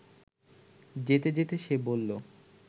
যেতে যেতে সে বলল